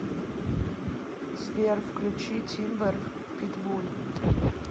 сбер включи тимбер питбуль